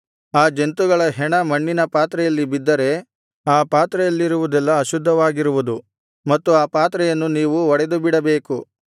ಆ ಜಂತುಗಳ ಹೆಣ ಮಣ್ಣಿನ ಪಾತ್ರೆಯಲ್ಲಿ ಬಿದ್ದರೆ ಆ ಪಾತ್ರೆಯಲ್ಲಿರುವುದೆಲ್ಲಾ ಅಶುದ್ಧವಾಗಿರುವುದು ಮತ್ತು ಆ ಪಾತ್ರೆಯನ್ನು ನೀವು ಒಡೆದುಬಿಡಬೇಕು